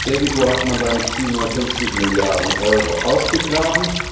Irgendwo hat man dann 750 Milliarden Euro ausgegraben.